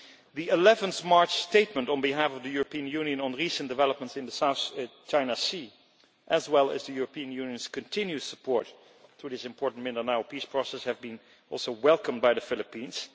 The 11 March statement on behalf of the European Union on recent developments in the South China Sea, as well as the European Union's continued support to the important Mindanao peace process has also been welcomed by the Philippines.